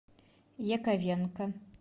яковенко